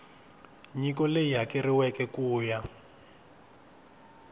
nyiko leyi hakeriweke ku ya